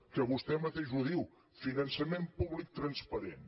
que vostè mateix ho diu finançament públic transparent